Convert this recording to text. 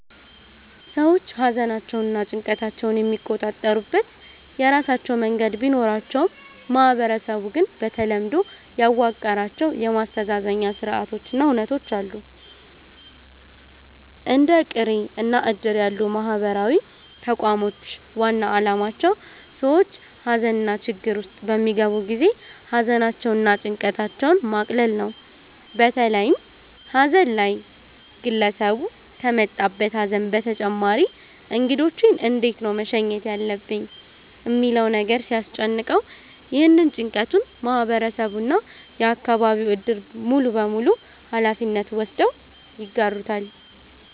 ሰዎች ሃዘናቸውንና ጭንቀታቸውን የሚቆጣጠሩበት የራሳቸው መንገድ ቢኖራቸውም ማህበረሰቡ ግን በተለምዶ ያዋቀራቸው የማስተዛዘኛ ስርአቶች እና ሁነቶች አሉ። እንደ ቅሬ እና እድር ያሉ ማህበራዊ ተቋሞች ዋና አላማቸው ሰዎች ሃዘንና ችግር ውስጥ በሚገቡ ጊዜ ሃዘናቸውን እና ጭንቀታቸውን ማቅለል ነው። በተለይም ሃዘን ላይ ግለሰቡ ከመጣበት ሃዘን በተጨማሪ እንግዶቼን እንዴት ነው መሸኘት ያለብኝ ሚለው ነገር ሲያስጨንቀው፤ ይህንን ጭንቀቱን ማህበረሰቡ እና የአከባቢው እድር ሙሉበሙሉ ሃላፊነት ወስደው ይጋሩታል።